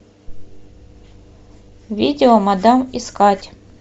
видео мадам искать